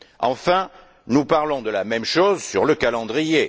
Enfin, nous parlons de la même chose sur le calendrier.